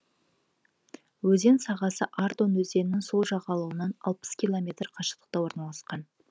өзен сағасы ардон өзенінің сол жағалауынан алпыс километр қашықтықта орналасқан